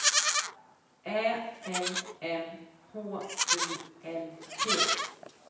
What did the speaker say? Ä L M H U L T